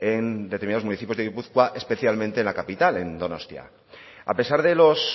en determinados municipios de gipuzkoa especialmente en la capital en donostia a pesar de los